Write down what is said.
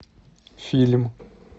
фильм